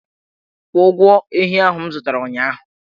Kwụọ ụgwọ ehi ahụ m zụtara ụnyahụ!